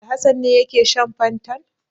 Alhassan ne yake shan fantan?